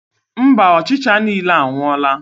Mba, ọchịcha niile anwụọla.